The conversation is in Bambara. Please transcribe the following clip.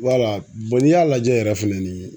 n'i y'a lajɛ yɛrɛ fɛnɛni